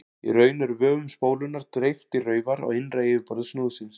Í raun er vöfum spólunnar dreift í raufar á innra yfirborði snúðsins.